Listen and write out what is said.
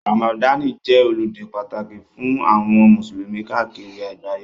Ramadani jẹ́ ọludé pàtàkì fún àwọn musulumi káàkiri àgbáyé.